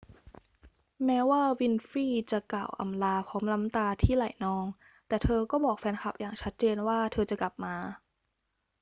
แม้ว่าวินฟรีย์จะกล่าวอำลาพร้อมน้ำตาที่ไหลนอง แต่เธอก็บอกแฟนคลับอย่างชัดเจนว่าเธอจะกลับมา